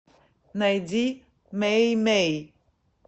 найди мэй мэй